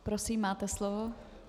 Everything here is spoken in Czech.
Prosím, máte slovo.